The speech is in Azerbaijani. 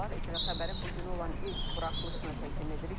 ATV Xəbərin bu günə olan ilk buraxılışını təqdim edirik.